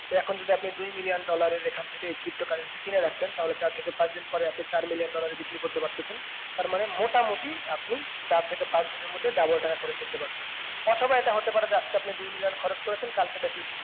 তো এখন যদি আপনি দুই million dollar এর এখন থেকে এই pto currency কিনে রাখতেন তাহলে চার থেকে পাঁচ দিন পরে আপনি চার million dollar এ বিক্রি করতে পারতেসেন তার মানে মোটামুটি আপনি চার থেকে পাঁচ দিনের মধ্যে double টাকা করে ফেলতে পারবেন অথবা এটা হতে পারে যে আজকে আপনি দুই million খরচ করেছেন কালকে দেখলেন যে